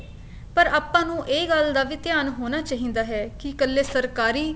ਪਰ ਆਪਾਂ ਨੂੰ ਇਹ ਗੱਲ ਦਾ ਵੀ ਧਿਆਨ ਹੋਣੇ ਚਾਹੀਦਾ ਹੈ ਕੀ ਕੱਲੇ ਸਰਕਾਰੀ